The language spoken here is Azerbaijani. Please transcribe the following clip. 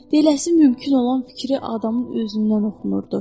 Deyiləsi mümkün olan fikri adamın özündən oxunurdu.